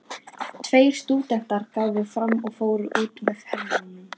Tveir stúdentar gáfu sig fram og fóru út með hermönnunum.